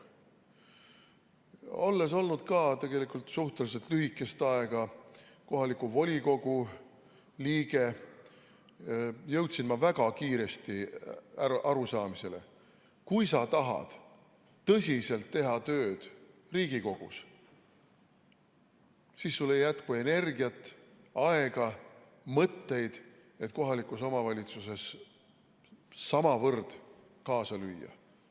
Olles olnud tegelikult suhteliselt lühikest aega kohaliku volikogu liige, jõudsin ma väga kiiresti arusaamisele, et kui sa tahad teha tõsiselt tööd Riigikogus, siis sul ei jätku energiat, aega ja mõtteid, et kohalikus omavalitsuses samavõrd kaasa lüüa.